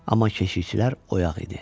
Amma keşikçilər oyaq idi.